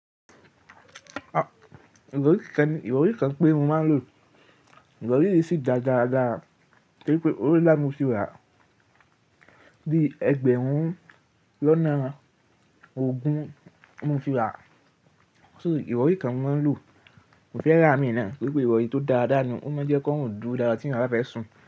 À, ìrọrí kan, ìrọrí kan pére mo máa ń lò, ìrọrí yìí sì ga dáadáa torí pé ówo ń lá mú fi wà bí ẹgbẹ̀rún lọ́nà ogún mú fi wà. So ìrọrí kan mo máa ń lò, mo fẹ́ rà á mìíràn torípé ìrọrí tó dáadáa ni. Ó máa ń jẹ́ kí wọ́n dùn dáadáa tí ọnà bá fẹ́ sùn.